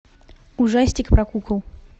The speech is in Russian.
ужастик про кукол